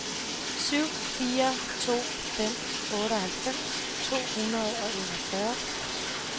syv fire to fem otteoghalvfems to hundrede og enogfyrre